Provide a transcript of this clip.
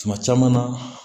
Tuma caman na